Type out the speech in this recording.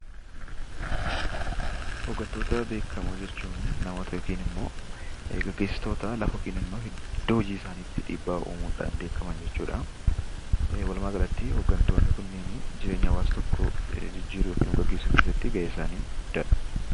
Hooggantoota beekamoo jechuun namoota yookaan ammoo gaggeessitoota lafa yookaan iddoo hojii isaanii irratti dhiibba uumuudhan beekaman jechuudha. Walumaagalatti, hooggantoonni kun jireenya hawaasa tokkoo jijjiiruu yookaan gaggeessuu keessatti ga'een isaanii guddaadha.